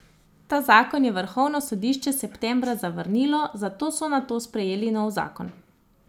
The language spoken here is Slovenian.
Ta zakon je vrhovno sodišče septembra zavrnilo, zato so nato sprejeli nov zakon.